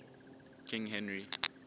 king henry